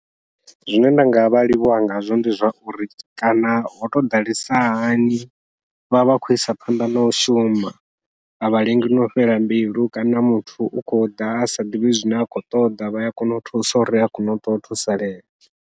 Zwine nda ngavha livhuwa ngazwo ndi zwauri kana ho tou ḓalesa hani vhavha vha khou isa phanḓa nau shuma, avha lengi nau fhela mbilu kana muthu u khou ḓa asa ḓivhi zwine a khou ṱoḓa vha ya kona u thusa uri a kone u ṱuwa o thusalea.